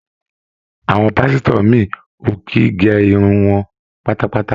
Àwọn pásítọ̀ mi ò kì í gé irun wọn pátápátá.